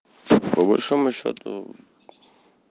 по большому счёту